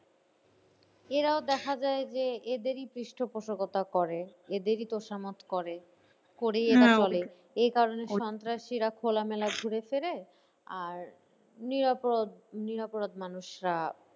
এরাও দেখা যায় যে এদেরই পৃষ্ট পোষজ্ঞতা করে এদেরই তোষা মত করে এই কারণে সন্ত্রাসীরা খোলামেলা ঘুরে ফেরে আর নিরাপরাধ, নিরাপরাধ মানুষরা